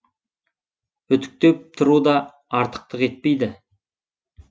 үтіктеп тұру да артықтық етпейді